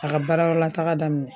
A ka baara yɔrɔ la taga daminɛ.